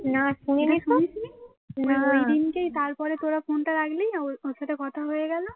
ফোনটা রাখলি ওর সাথে কথা হয়ে গেল